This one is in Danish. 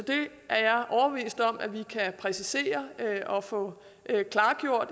jeg er overbevist om at vi kan præcisere det og få